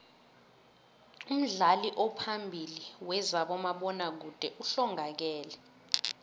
umdlali ophambili wezabomabona kude uhlongakele